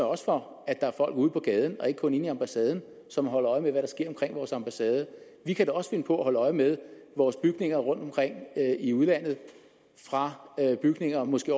også for at der er folk ude på gaden og ikke kun inde i ambassaden som holder øje med hvad der sker omkring vores ambassade vi kan da også finde på at holde øje med vores bygninger rundt omkring i udlandet fra bygninger måske